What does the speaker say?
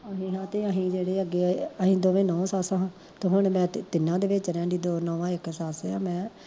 ਅਸੀਂ ਹਾਂ ਤੇ ਅਸੀਂ ਜਿਹੜੇ ਅੱਗੇ ਆਲੇ ਅਸੀਂ ਦੋਵੇਂ ਨੂੰਹ ਸੱਸ ਹਾਂ, ਤੇ ਹੁਣ ਮੈਂ ਤਿੰਨਾਂ ਦੇ ਵਿੱਚ ਰਹਿੰਦੀ ਦੋ ਨਹੂੰਆਂ ਇੱਕ ਸੱਸ ਆਂ ਮੈਂ